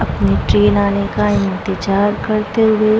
अपने ट्रैन आने का इंतजार करते हुए --